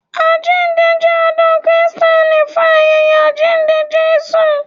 Àjíǹde jẹ ọdún Krìsténì fún ayẹyẹ àjíǹde Jésù.